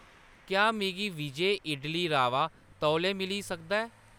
क्या मिगी विजय इडली रवा तौले मिली सकदा ऐ ?